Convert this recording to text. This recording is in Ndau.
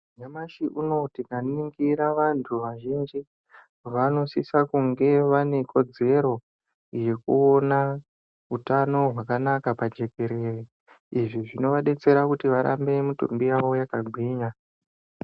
Nyamashi unowu tikaningira vantu vazhinji vanosisa kunge vane kodzero yekuona utano hwakanaka pajekerere izvi zvinovadetsera kuti mitumbi yavo irambe yakagwinya.